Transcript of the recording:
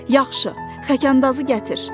Yaxşı, xəkəndazı gətir.